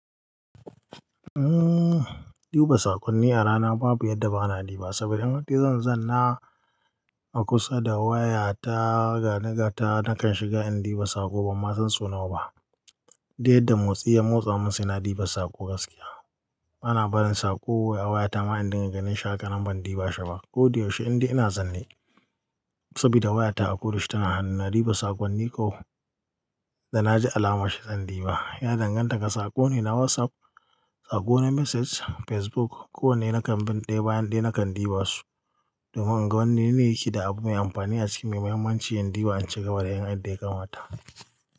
Umm, duba saƙonni a rana babu yadda ba na diba wa, saboda in hadai zan zanna a kusa da waya ta, gani gata nakan shiga in diba saƙo ban ma san so nawa ba. Diyyadda motsi ya motsa, mun sai na diba saƙo gaskiya. Bana barin saƙo a wayata ma in dinga ganin shi haka nan ban diba shi ba. Ko da yaushe indai ina zanne, saboda wayata a koda yaushe tana hannu na diba saƙonni ko da na ji alamar shi zan diba. Ya danganta ga saƙo ne na WhatsApp, saƙo ne message, Facebook, ko wanne na kan bin ɗaya bayan ɗaya nakan dibasu. Domin in ga wanne ne yake da abu mai amfani a ciki, mai muhimmanci in diba in shigaba da yin yadda kamata.